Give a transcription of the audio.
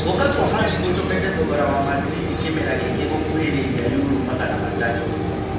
Gũka kwa Mandĩ gũtũmite thogora wa Madrindi kĩmera gĩkĩ gũkuhĩrĩria yuro million magana matatũ.